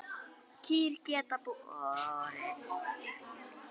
Kýr geta borið